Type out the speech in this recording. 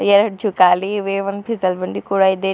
ಎರಡು ಜೋಕಾಲಿ ಇದೆ ಒಂದ್ ಪಿಸೆಲ್ ಬಂಡಿ ಕೂಡ ಇದೆ.